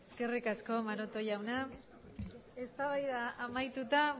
eskerrik asko maroto jauna eztabaida amaituta